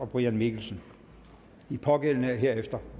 brian mikkelsen de pågældende er herefter